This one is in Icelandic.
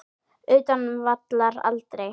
Utan vallar: Aldrei.